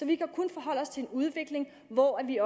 vi kan kun forholde os til en udvikling hvor vi